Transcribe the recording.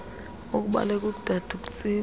ukubaleka ukudada uktsiba